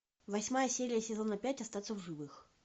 восьмая серия сезона пять остаться в живых